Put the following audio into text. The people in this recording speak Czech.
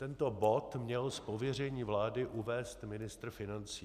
Tento bod měl z pověření vlády uvést ministr financí.